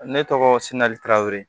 Ne tɔgɔ sinali tarawele